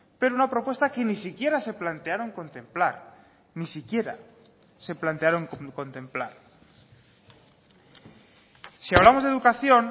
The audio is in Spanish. pero una propuesta que ni siquiera se plantearon contemplar ni siquiera se plantearon contemplar si hablamos de educación